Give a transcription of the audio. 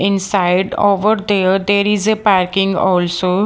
inside over there there is a packing also.